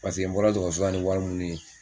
Paseke n bɔra dɔgɔtɔrɔso la ni wari minnu ye